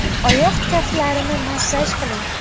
Oyoq kaftlarini massaj qiling.